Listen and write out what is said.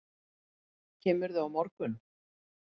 Kemurðu á morgun?